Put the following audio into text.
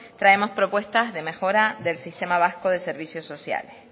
traemos propuestas de mejora del sistema vasco de servicio sociales